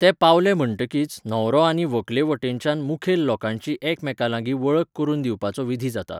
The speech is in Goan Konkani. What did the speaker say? ते पावले म्हणटकीच, न्हवरो आनी व्हंकले वटेनच्या मुखेल लोकांची एकामेकांलागीं वळख करून दिवपाचो विधी जाता.